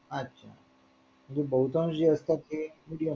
अच्छा बहुतांश जे असतात ते